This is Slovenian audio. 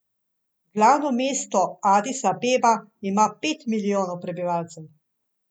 Glavno mesto Adis Abeba ima pet milijonov prebivalcev.